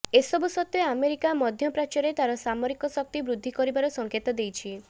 ଏସବୁ ସତ୍ତ୍ବେ ଆମେରିକା ମଧ୍ୟପ୍ରାଚ୍ୟରେ ତାର ସାମରିକ ଶକ୍ତି ବୃଦ୍ଧି କରିବାର ସଂକେତ ଦେଇଛି